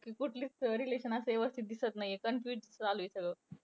कुठलंच अं relation असं व्यवस्थित दिसत नाहीये. confusion चालूये सगळं.